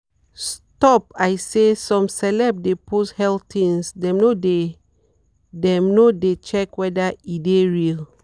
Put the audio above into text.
stop i say some celeb de post health things dem no de dem no de check weda e de real.